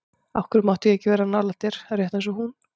Af hverju mátti ég ekki vera nálægt þér, rétt eins og hún?